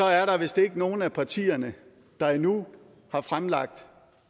er der vist ikke nogen af partierne der endnu har fremlagt